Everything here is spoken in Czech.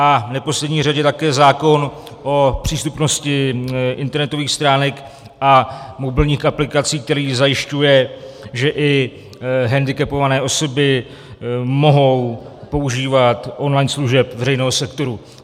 A v neposlední řadě také zákon o přístupnosti internetových stránek a mobilních aplikací, který zajišťuje, že i hendikepované osoby mohou používat online služeb veřejného sektoru.